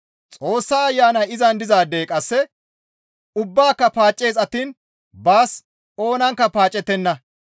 Xoossa Ayanay izan dizaadey qasse ubbaaka paaccees attiin baas oonankka paacettenna.